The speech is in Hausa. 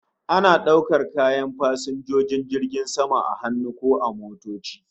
Ana daukar kayan fasinjojin jirgin sama a hannu ko motoci